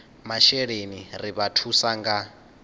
masheleni ri vha thusa nga